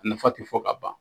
A nafa tɛ fɔ ka ban.